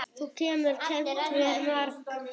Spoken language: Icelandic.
Þú hefur kennt mér margt.